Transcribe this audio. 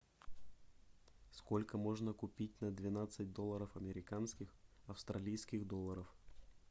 сколько можно купить на двенадцать долларов американских австралийских долларов